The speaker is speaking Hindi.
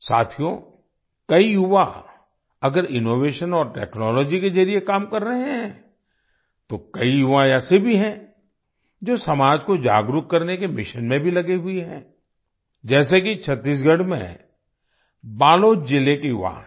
साथियो कई युवा अगर इनोवेशन और टेक्नोलॉजी के जरिए काम कर रहे हैं तो कई युवा ऐसे भी हैं जो समाज को जागरूक करने के मिशन में भी लगे हुए हैं जैसे कि छत्तीसगढ़ में बालोद जिले के युवा हैं